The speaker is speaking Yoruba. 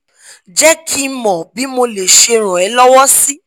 je ki mo bi mo le se ran e lowo si